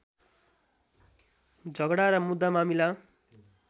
झगडा र मुद्दामामिला